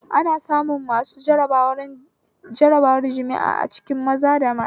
Ana samun masu jarabar jima'i a cikin maza da mata